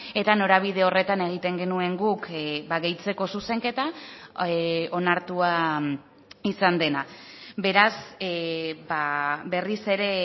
eta norabide horretan egiten genuen guk gehitzeko zuzenketa onartua izan dena beraz berriz ere